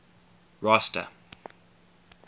rosta